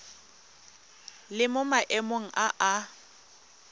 le mo maemong a a